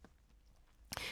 DR K